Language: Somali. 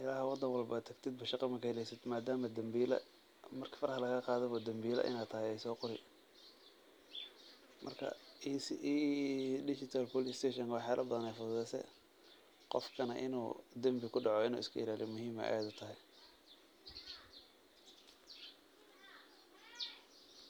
ilaa wadan walbo aad tagtid shaqa kama heleysid maadama dambiila, marki faraha lagaa qaadaba dambiila inaa tahay ayeey soo qori, marka digital police station wax badan ayeey fududeese, qofkana inuu dambi kudaco inuu iska ilaaliyo muhiim ayeey aad utahay.